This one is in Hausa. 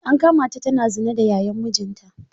An kama ta tana zina da Yayan mijinta.